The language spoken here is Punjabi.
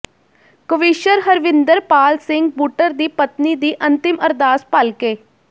ਕਵੀਸ਼ਰ ਹਰਵਿੰਦਰਪਾਲ ਸਿੰਘ ਬੁੱਟਰ ਦੀ ਪਤਨੀ ਦੀ ਅੰਤਿਮ ਅਰਦਾਸ ਭਲਕੇ